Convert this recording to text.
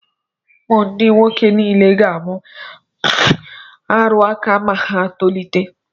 Ụmụ m ndị nwoke niile ga-amụ ọrụ aka ma ha tolite.